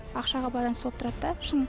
ақшаға байланысты болып тұрады да шын